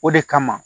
O de kama